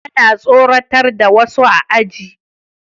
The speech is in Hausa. Tana tsoratar da wasu a ajin